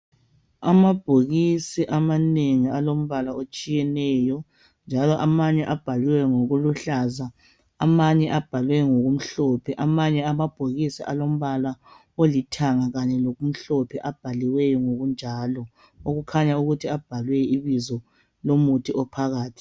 Amabhokisi amanengi alombala otshiyeneyo njalo amanye abhalwe ngokuluhlaza amanye abhalwe ngokumhlophe amanye amabhokisi alombala olithanga kanye lokumhlophe abhaliweyo ngokunjalo akhanya ukuthi abhalwe ibizo lomuthi ophakathi.